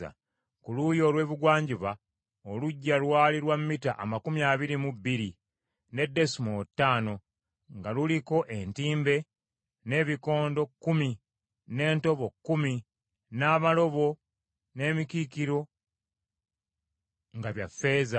Ku luuyi olw’ebugwanjuba oluggya lwali lwa mita amakumi abiri mu bbiri, ne desimoolo ttaano nga luliko entimbe, n’ebikondo kkumi, n’entobo kkumi; n’amalobo n’emikiikiro nga bya ffeeza.